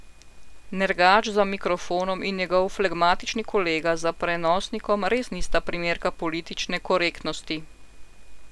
Nergač za mikrofonom in njegov flegmatični kolega za prenosnikom res nista primerka politične korektnosti.